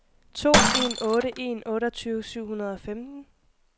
to en otte en otteogtyve syv hundrede og femten